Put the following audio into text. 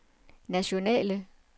nationale